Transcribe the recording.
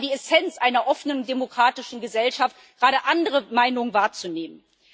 Das ist aber die Essenz einer offenen demokratischen Gesellschaft, gerade andere Meinungen wahrzunehmen.